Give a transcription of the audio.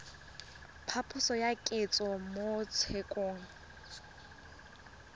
phaposo ya kgetse mo tshekong